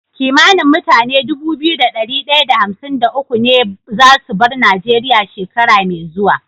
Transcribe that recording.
Kimanin mutane Dubu biyu da dari daya da hamsin da uku ne zasu bar nigeria shekara me zuwa